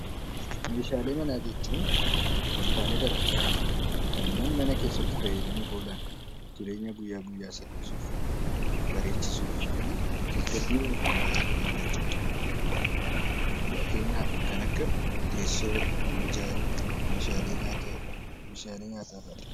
Meeshaalee manaa jechuun wantoota garaagaraa kanneen mana keessatti fayyadamuuf oolan jireenya guyyaa guyyaa salphisuuf bareechuu fi tasgabbii uumuuf kan barbaachisan jechuudha. Fakkeenyaaf kan akka teessoo, minjaala, meeshaalee nyaataa fi kanneen biroo